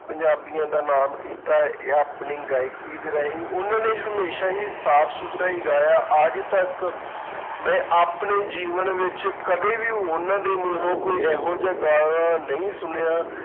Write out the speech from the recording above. ਪੰਜਾਬੀਆਂ ਦਾ ਨਾਮ ਕੀਤਾ ਆਪਣੀ ਗਾਇਕੀ ਦੇ ਰਾਹੀਂ, ਉਹਨਾਂ ਨੇ ਹਮੇਸ਼ਾ ਹੀ ਸਾਫ਼ ਸੁਥਰਾ ਹੀ ਗਾਇਆ ਅੱਜ ਤੱਕ ਮੈਂ ਆਪਣੇ ਜੀਵਨ ਵਿੱਚ ਕਦੇ ਵੀ ਉਹਨਾਂ ਦੇ ਮੂੰਹੋਂ ਕੋਈ ਇਹੋ ਜਿਹਾ ਗਾਣਾ ਨਹੀਂ ਸੁਣਿਆ,